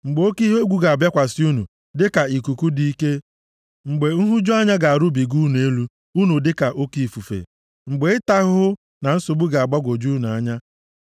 Mgbe oke ihe egwu ga-abịakwasị unu dịka ikuku dị ike, mgbe nhụju anya ga-erubiga nʼelu unu dịka oke ifufe, mgbe ịta ahụhụ na nsogbu ga-agbagwoju unu anya.